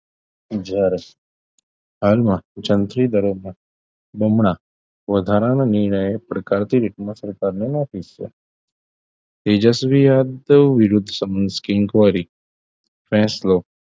રાજસ્થાનમાં જંત્રી દરો મા બમણા વધારાના નિર્ણય પ્રકારની થી સરકાર માં નોધી છે તેજસ્વીય વિરુદ્ધ inquiry ફેંસલો